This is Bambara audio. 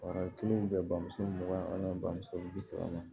A kelen bɛ bamuso mugan an bɛ bamuso bi saba ma